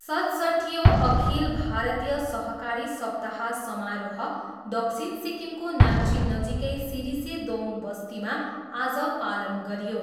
सतसट्ठियौँ अखिल भारतीय सहकारी सप्ताह समारोह दक्षिण सिक्किमको नाम्ची नजीकै सिरिसे दोङ बस्तीमा आज पालन गरियो।